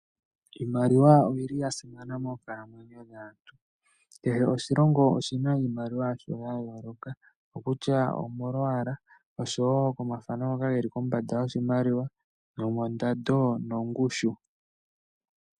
Iimaliwa oyi li ya simana moonkalamwenyo dhaantu. Kehe oshilongo oshi na iimaliwa yasho ya yooloka okutya omolwaala, oshowo komathano ngoka haga kala geli kombanda yoshimaliwa, nomondando nomongushu.